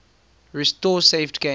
restore saved games